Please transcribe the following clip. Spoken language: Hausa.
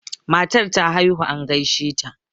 matar ta haihu an gaishe ta